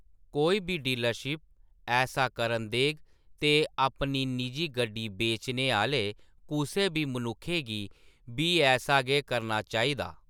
कोई बी डीलरशिप ऐसा करन देग ते अपनी निजी गड्डी बेचने आह्‌‌‌ले कुसै बी मनुक्खै गी बी ऐसा गै करना चाहिदा।